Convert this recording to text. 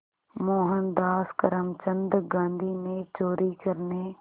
मोहनदास करमचंद गांधी ने चोरी करने